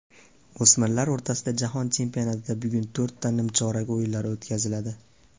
O‘smirlar o‘rtasidagi jahon chempionatida bugun to‘rtta nimchorak o‘yinlari o‘tkaziladi.